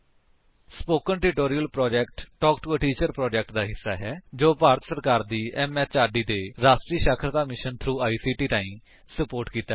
spoken tutorial project talk to a teacher project ਦਾ ਹਿੱਸਾ ਹੈ ਜੋ ਭਾਰਤ ਸਰਕਾਰ ਦੀ ਐਮਐਚਆਰਡੀ ਦੇ ਰਾਸ਼ਟਰੀ ਸਾਖਰਤਾ ਮਿਸ਼ਨ ਥ੍ਰੋ ਆਈਸੀਟੀ ਰਾਹੀਂ ਸੁਪੋਰਟ ਕੀਤਾ ਗਿਆ ਹੈ